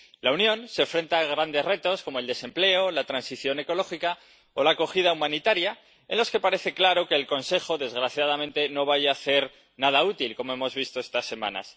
La Unión se enfrenta a grandes retos, como el desempleo, la transición ecológica o la acogida humanitaria, en los que parece claro que el Consejo, desgraciadamente, no vaya a hacer nada útil, como hemos visto estas semanas.